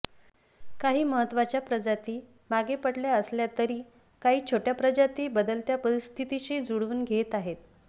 काही महत्त्वाच्या प्रजाती मागे पडल्या असल्या तरी काही छोट्या प्रजाती बदलत्या परिस्थितीशी जुळवून घेत आहेत